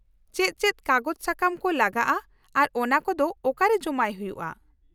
-ᱪᱮᱫ ᱪᱮᱫ ᱠᱟᱜᱚᱡᱽ ᱥᱟᱠᱟᱢ ᱠᱚ ᱞᱟᱜᱟᱜᱼᱟ ᱟᱨ ᱚᱱᱟᱠᱚᱫᱚ ᱚᱠᱟᱨᱮ ᱡᱚᱢᱟᱭ ᱦᱩᱭᱩᱜᱼᱟ ?